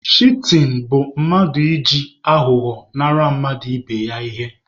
Shitin bụ mmadụ iji aghụghọ nara mmadụ ibe ya ihe.